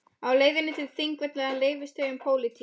Á leiðinni til Þingvalla rifust þau um pólitík.